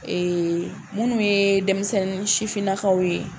Ee minnu ye denmisɛnnin sifininakaw ye